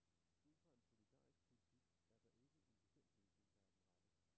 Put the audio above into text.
Ud fra en solidarisk politik er der ikke en bestemt løsning, der er den rette.